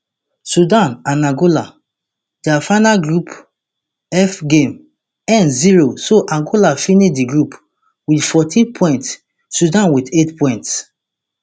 sudan and angola dia final group f game end zero so angola finish di group wit fourteen points sudan wit eight points